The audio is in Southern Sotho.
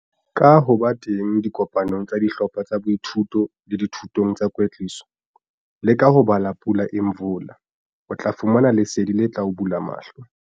Ka ho ba teng dikopanong tsa dihlopha tsa boithuto le dithutong tsa kwetliso, le ka ho bala Pula Imvula, o tla fumana lesedi le tla o bula mahlo.